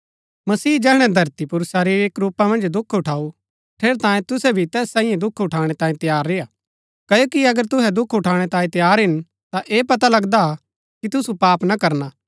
मसीह जैहणै धरती पुर शरीरिक रूपा मन्ज दुख उठाऊ ठेरैतांये तुहै भी तैस सांईये दुख उठाणै तांये तैयार रेय्आ क्ओकि अगर तुहै दुख उठाणै तांये तैयार हिन ता ऐह पता लगदा हा कि तुसु पाप ना करना